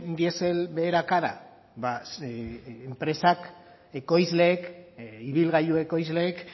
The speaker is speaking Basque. dieselak beherakada ba enpresak ekoizleek ibilgailu ekoizleek